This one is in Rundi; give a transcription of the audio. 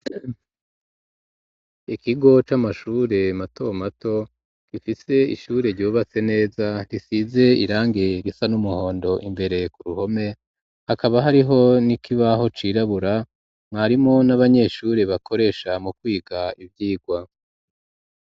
Ikigo c'amashure mato mato gifise ishure ryubatse neza risize irangi risa n'umuhondo imbere ku ruhome hakaba hariho nikibaho cirabura mwarimo n'abanyeshure bakoresha mu kwiga ivyigwa.